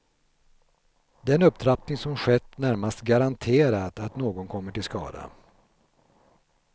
Den upptrappning som skett närmast garanterar att någon kommer till skada.